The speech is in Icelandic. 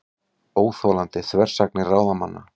Óþolandi þversagnir ráðamanna